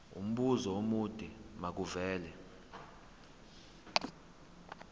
umbuzo omude makuvele